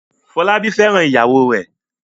Fọlábí fẹ́ràn ìyàwó rẹ̀ m